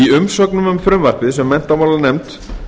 í umsögnum um frumvarpið sem menntamálanefnd